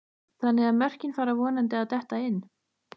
Þannig að mörkin fara vonandi að detta inn?